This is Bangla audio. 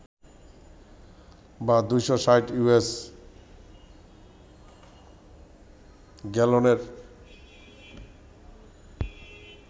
বা ২৬০ ইউএস গ্যালনের